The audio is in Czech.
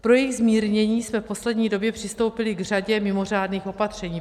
Pro jejich zmírnění jsme v poslední době přistoupili k řadě mimořádných opatření.